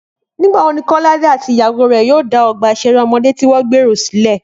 Nígbà wo ni Kọ́ládé àti ìyàwó rẹ̀ yóò dá ọgbà ìṣeré ọmọdé tí wọ́n gbèrò sílẹ̀?